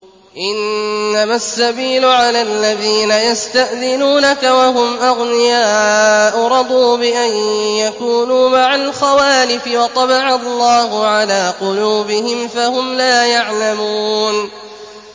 ۞ إِنَّمَا السَّبِيلُ عَلَى الَّذِينَ يَسْتَأْذِنُونَكَ وَهُمْ أَغْنِيَاءُ ۚ رَضُوا بِأَن يَكُونُوا مَعَ الْخَوَالِفِ وَطَبَعَ اللَّهُ عَلَىٰ قُلُوبِهِمْ فَهُمْ لَا يَعْلَمُونَ